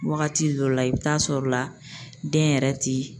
Wagati dɔ la i bi taa sɔrɔ la den yɛrɛ ti